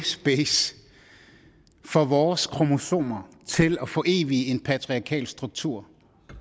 space for vores kromosomer til at forevige en patriarkalsk struktur